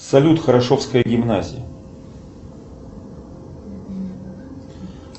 салют хорошовская гимназия